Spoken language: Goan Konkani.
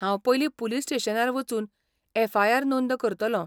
हांव पयलीं पुलीस स्टेशनार वचून एफआयआर नोंद करतलों.